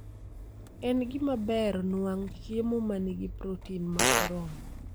En gima ber nuang' chiemo ma nigi protin ma oromo